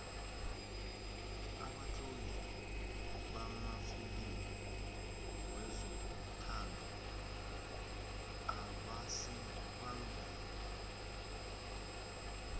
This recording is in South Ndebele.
abatloli bamafilimu wezothando abasibangengi